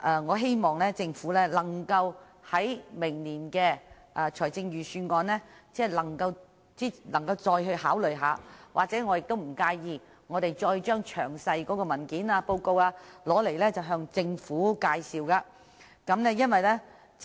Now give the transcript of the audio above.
我希望政府能夠在明年的財政預算案再次考慮這項建議，而我亦不介意再次向政府詳細介紹有關的文件及報告。